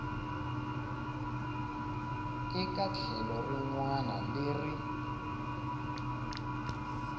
eka tlhelo rin wana leri